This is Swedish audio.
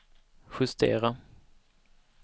justera